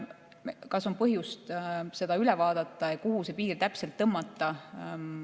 Kas on põhjust see üle vaadata ja kuhu see piir täpselt tõmmata?